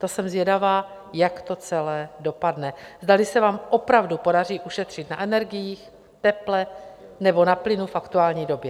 To jsem zvědavá, jak to celé dopadne, zdali se vám opravdu podaří ušetřit na energiích, teple nebo na plynu v aktuální době.